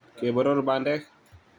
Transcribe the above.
keboror bandek